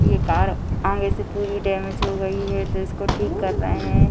ये कार आगे से पूरी डैमेज हो गई है तो इसको ठीक कर रहे हैं।